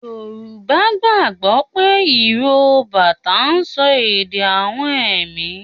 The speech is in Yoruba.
Yorùbá gbàgbó pé ìró bátà ń sọ èdè awọn ẹ̀mí